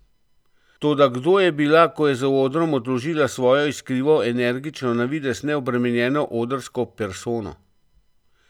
Toda kdo je bila, ko je za odrom odložila svojo iskrivo, energično, na videz neobremenjeno odrsko persono?